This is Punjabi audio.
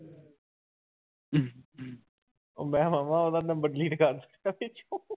ਉਹ ਮੈਂ ਕਿਹਾ ਮਾਮਾ ਉਹਦਾ number delete ਕਰ ਕਹਿੰਦਾ ਕਿਉਂ